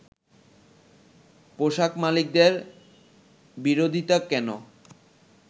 পোশাক মালিকদের বিরোধিতা কেন